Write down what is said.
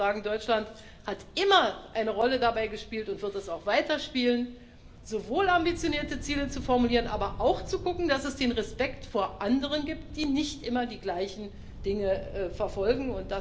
Ich würde sagen, Deutschland hat immer eine Rolle dabei gespielt und wird sie auch weiterspielen, sowohl ambitionierte Ziele zu formulieren, aber auch zu gucken, dass es den Respekt vor anderen gibt, die nicht immer die gleichen Dinge verfolgen.